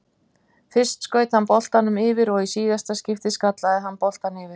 Fyrst skaut hann boltanum yfir og í síðara skiptið skallaði hann boltann yfir.